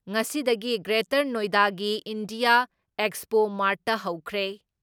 ꯉꯁꯤꯗꯒꯤ ꯒ꯭ꯔꯦꯇꯔ ꯅꯣꯏꯗꯥꯒꯤ India expo ꯃꯥꯔꯠꯇ ꯍꯧꯈ꯭ꯔꯦ ꯫